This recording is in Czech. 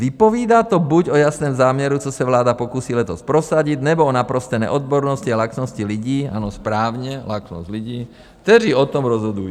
Vypovídá to buď o jasném záměru, co se vláda pokusí letos prosadit, nebo o naprosté neodbornosti a laxnosti lidí, ano, správně, laxnost lidí, kteří o tom rozhodují.